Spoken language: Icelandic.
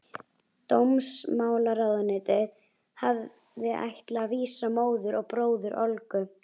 Dómsmálaráðuneytið hafði ætlað að vísa móður og bróður Olgu